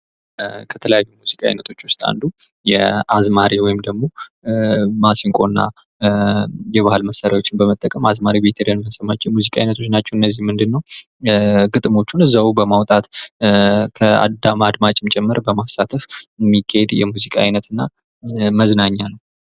ሙዚቃ በዓለም ዙሪያ ያሉ ሰዎችን በጋራ ቋንቋ የሚያገናኝ ድንበር የለሽ ጥበብ በመሆን የባህል ልውውጥን ያጠናክራል።